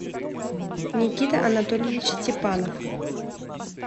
никита анатольевич степанов